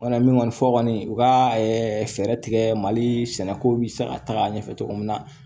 Wala min kɔni fɔ kɔni u ka fɛɛrɛ tigɛ mali sɛnɛkow bɛ se ka taga ɲɛfɛ cogo min na